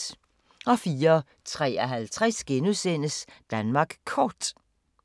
04:53: Danmark Kort *